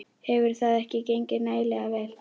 Hefur það ekki gengið nægilega vel?